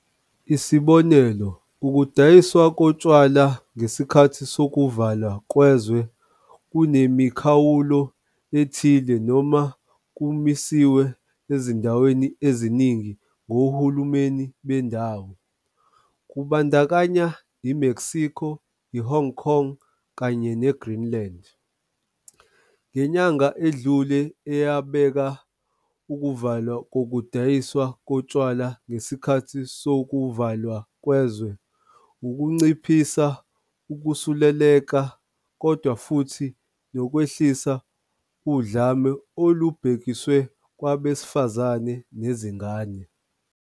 Isibonelo, ukudayiswa kotshwala ngesikhathi sokuvalwa kwezwe kunemikhawulo ethile noma kumisiwe ezindaweni eziningi ngohulumeni bendawo, kubandakanya i-Mexico, i-Hong Kong kanye neGreenland, ngenyanga edlule eyabeka ukuvalwa ukudayiswa kotshwala ngesikhathi sokuvalwa kwezwe ukunciphisa ukusuleleka kodwa futhi 'nokwehlisa udlame olubhekiswe kwabesifazane nezingane.'